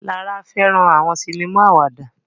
Lara fẹràn àwọn sinima àwàdà